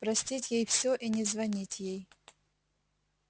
простить ей всё и не звонить ей